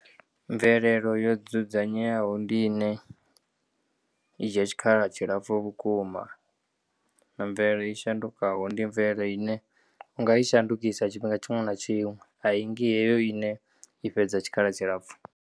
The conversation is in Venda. Mvelelo yo dzudzenyeaho ndi ine idzhiya tshikhala tshilapfu vhukuma, mvelele i shandukaho ndi mvelele ine u nga yi shandukisa tshifhinga tshiṅwe na tshiṅwe, ayingi heyo ine ifhedza tshikhala tshilapfu.